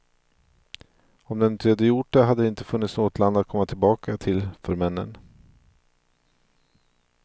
Om de inte gjort det hade det inte funnits något land att komma tillbaka till för männen.